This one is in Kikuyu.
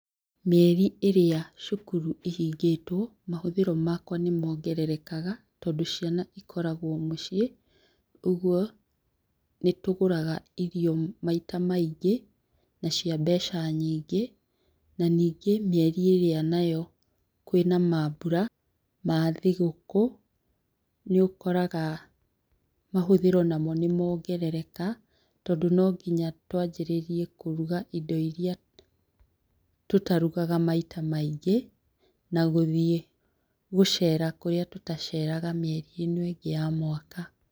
Mĩeri ĩrĩa cukuru ĩhingĩtwo, mahũthĩro makwa nĩmongererekaga tondũ ciana ikoragwo mũciĩ. ũgwo nĩtũgũraga irio maita maingĩ na cia mbeca nyingĩ. Na nyingĩ mĩeri ĩrĩa nayo kwĩna mambura ma thigũkũ nĩũkorago namo mahũthĩro nĩmongerereka tondũ nginya twanjĩrĩrie kũruga indo iria tũtarugaga maita maingĩ, na gũthiĩ gũcera kũrĩa tũtaceraga mĩeri ĩno ĩngĩ ya mwaka.